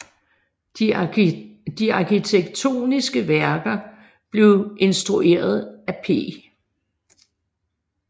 De arkitektoniske værker blev instrueret af P